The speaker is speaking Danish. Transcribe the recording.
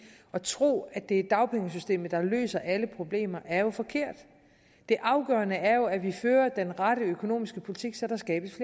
at tro at det er dagpengesystemet der løser alle problemer er jo forkert det afgørende er jo at vi fører den rette økonomiske politik så der skabes